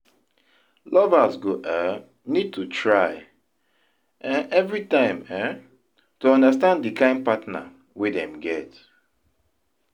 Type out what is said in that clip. Lovers go um need to try um everytime um to understand di kind partner wey dem get